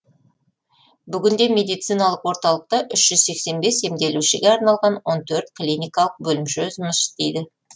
бүгінде медициналық орталықта үш жүз сексен бес емделушіге арналған он төрт клиникалық бөлімше жұмыс істейді